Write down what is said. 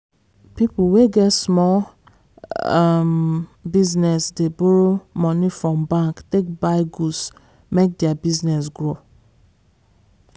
people wey get small um business dey borrow money from bank take buy goods make their business grow.